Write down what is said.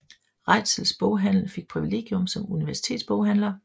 Reitzels boghandel fik privilegium som universitetsboghandler